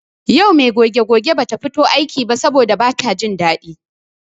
Yau me goge goge bata fito aiki ba saboda bata jin daɗi.